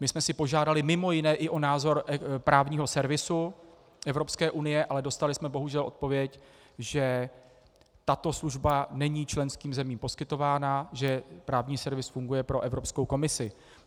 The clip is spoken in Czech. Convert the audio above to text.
My jsme si požádali mimo jiné i o názor právního servisu Evropské unie, ale dostali jsme bohužel odpověď, že tato služba není členským zemím poskytována, že právní servis funguje pro Evropskou komisi.